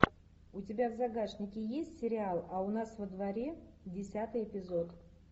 у тебя в загашнике есть сериал а у нас во дворе десятый эпизод